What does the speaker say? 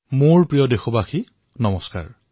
মোৰ মৰমৰ দেশবাসীসকল নমস্কাৰ